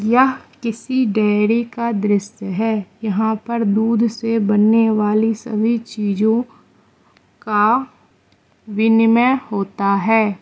यह किसी डेयरी का दृश्य है यहां पर दूध से बनने वाली सभी चीजों का विनिमय होता है।